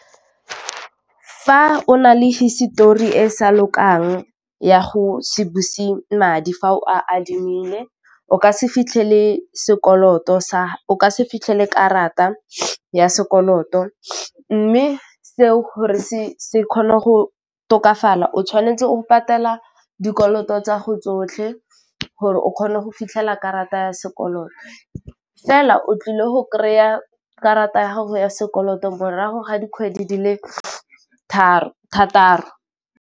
Fa o nale hisetori e sa lokang ya go se buse madi fa o a adimile, o ka se fitlhele sekoloto sa o ka se fitlhele karata ya sekoloto mme seo gore se kgone go tokafala, o tshwanetse o go patela dikoloto tsa go tsotlhe gore o kgone go fitlhela karata ya sekoloto fela o tlile go kry a karata ya gago ya sekoloto morago ga dikgwedi di le tharo .